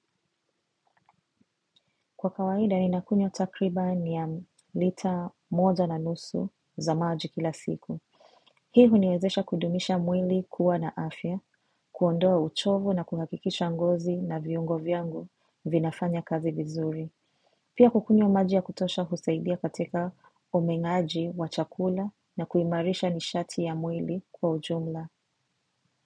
Kwa kawaida ninakunywa takriban ya lita moja na nusu za maji kila siku. Hii huniwezesha kudumisha mwili kuwa na afya, kuondoa uchovu na kuhakikisha ngozi na viungo vyangu vinafanya kazi vizuri. Pia kukunywa maji ya kutosha husaidia katika uminaji wa chakula na kuimarisha nishati ya mwili kwa ujumla.